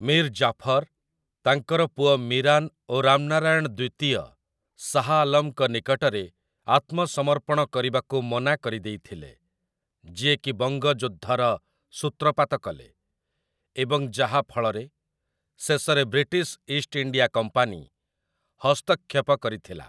ମୀର୍ ଜାଫର୍, ତାଙ୍କର ପୁଅ ମିରାନ୍ ଓ ରାମନାରାୟଣ ଦ୍ୱିତୀୟ ଶାହ୍ ଆଲମ୍‌ଙ୍କ ନିକଟରେ ଆତ୍ମସମର୍ପଣ କରିବାକୁ ମନା କରିଦେଇଥିଲେ, ଯିଏକି ବଙ୍ଗ ଯୁଦ୍ଧର ସୂତ୍ରପାତ କଲେ ଏବଂ ଯାହା ଫଳରେ ଶେଷରେ ବ୍ରିଟିଶ ଇଷ୍ଟ ଇଣ୍ଡିଆ କମ୍ପାନୀ ହସ୍ତକ୍ଷେପ କରିଥିଲା।